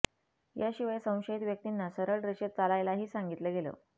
याशिवाय संशयित व्यक्तींना सरळ रेषेत चालायलाही सांगितलं गेलं